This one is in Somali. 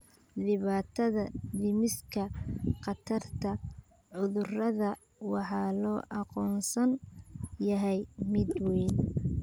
Dhibaatada dhimista khatarta cudurrada waxaa loo aqoonsan yahay mid weyn.